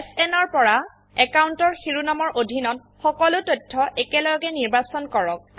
SN পৰা অ্যাকাউন্টৰ শিৰোনামৰ অধীনত সকলো তথ্য একেলগে নিৰ্বাচন কৰক